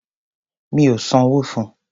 Mí ò sanwó fun.